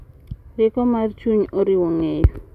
Rieko mar chuny oriwo ng’eyo,